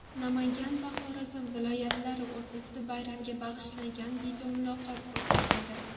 Namangan va Xorazm viloyatlari o‘rtasida bayramga bag‘ishlangan videomuloqot o‘tkazildi .